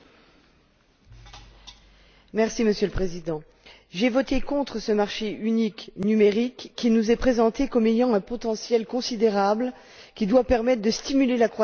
Monsieur le Président, j'ai voté contre ce marché unique numérique qui nous est présenté comme ayant un potentiel considérable et qui doit permettre de stimuler la croissance et de renforcer la confiance.